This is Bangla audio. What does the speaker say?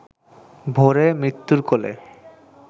ভোরে মৃত্যুর কোলে